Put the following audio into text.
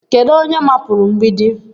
Kedu onye mapụrụ mgbidi?